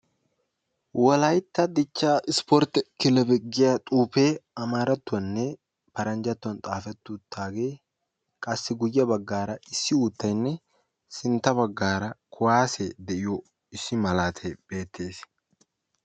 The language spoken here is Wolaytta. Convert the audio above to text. Wolaytta dichchaa ispportte kilebe giya xuufee amarattuwaninne paranjjattuwan xaafetti uttagee qassi guyye baggaara issi uuttayne sintta baggaara kuwasee de"iyo issi malatay beettees.